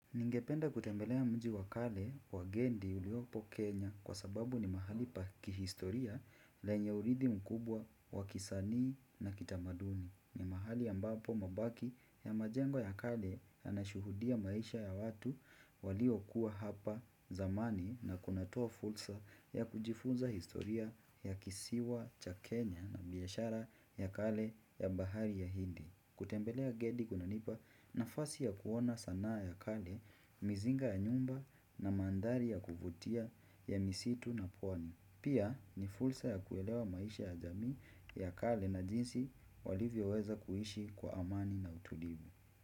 Ningependa kutembelea mji wakale wa Gendi uliopo Kenya kwa sababu ni mahali pakihistoria lenye uridhi mkubwa wakisanii na kitamaduni. Ni mahali ambapo mabaki ya majengo ya kale ya nashuhudia maisha ya watu walio kuwa hapa zamani na kunatoa fursa ya kujifunza historia ya kisiwa cha Kenya na biashara ya kale ya bahari ya hindi. Kutembelea Gedi kunanipa nafasi ya kuona sanaa ya kale, mizinga ya nyumba na manthari ya kuvutia ya misitu na pwani. Pia ni fursa ya kuelewa maisha ya jamii ya kale na jinsi walivyo weza kuishi kwa amani na utulivu.